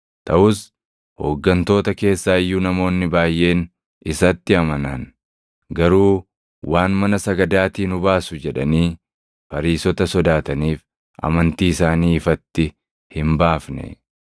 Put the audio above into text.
Taʼus hooggantoota keessaa iyyuu namoonni baayʼeen isatti amanan. Garuu waan mana sagadaatii nu baasu jedhanii Fariisota sodaataniif amantii isaanii ifatti hin baafne;